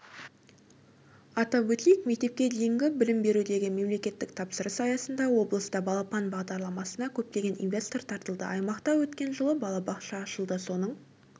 атап өтейік мектепке дейінгі білім берудегі мемлекеттік тапсырыс аясында облыста балапан бағдарламасына көптеген инвестор тартылды аймақта өткен жылы балабақша ашылды соның